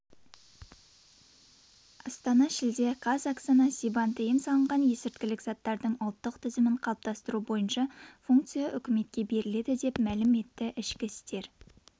астана шілде қаз оксана скибан тыйым салынған есірткілік заттардың ұлттық тізімін қалыптастыру бойынша функция үкіметке беріледі деп мәліім етті ішкі істер